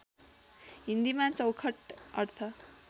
हिन्दीमा चौखट अर्थ